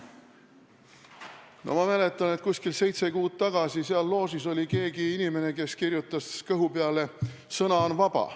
Ma mäletan, et umbes seitse kuud tagasi oli seal loožis keegi inimene, kellel oli kõhu peale kirjutatud "Sõna on vaba".